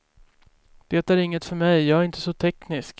Det är inget för mig, jag är inte så teknisk.